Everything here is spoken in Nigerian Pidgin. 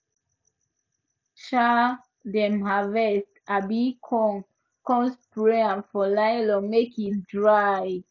um dem harvest um corn come spread am for lylon make e dry